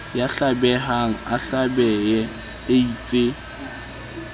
ya hlabehang a hlabehe eitse